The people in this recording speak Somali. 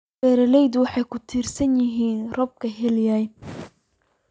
Beeraleydu waxay ku tiirsan yihiin roobabka xilliyeed.